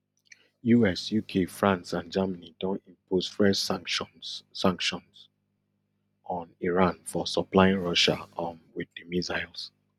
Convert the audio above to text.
us uk france and germany don impose fresh sanctions sanctions on iran for supplying russia um wit di missiles